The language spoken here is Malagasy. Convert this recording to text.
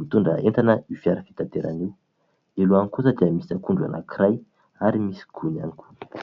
mitondra entana io fiara fitaterana io. Eo alohany kosa dia misy akondro anankiray ary misy gony ihany koa.